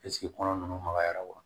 kɔnɔ nunnu magayara wa